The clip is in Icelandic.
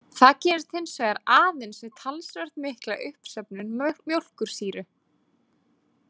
Það gerist hins vegar aðeins við talsvert mikla uppsöfnun mjólkursýru.